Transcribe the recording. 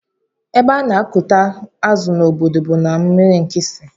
Ébé ana akụta azụ na ọbọdọ a bú na mmiri nkisi.